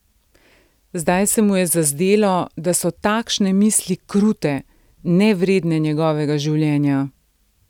Zdaj se mu je zazdelo, da so takšne misli krute, nevredne njegovega življenja.